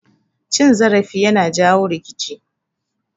Cin zarafi yana jawo rikici